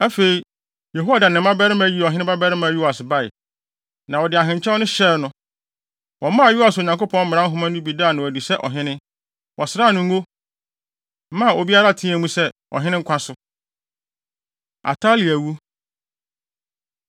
Afei, Yehoiada ne ne mmabarima yii ɔhene babarima Yoas bae, na wɔde ahenkyɛw no hyɛɛ no. Wɔmaa Yoas Onyankopɔn mmara nhoma no bi daa no adi sɛ ɔhene. Wɔsraa no ngo, maa obiara teɛɛ mu se, “Ɔhene nkwa so!” Atalia Wu